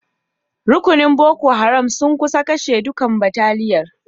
Rukunin Boko Haram sun kusa kashe dukan bataliyan.